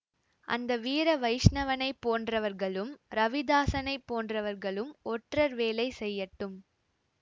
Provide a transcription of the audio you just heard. அந்த வீர வைஷ்ணவனை போன்றவர்களும் ரவிதாசனைப் போன்றவர்களும் ஒற்றர் வேலை செய்யட்டும்